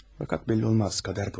Fəqət bəlli olmaz, qismət budur.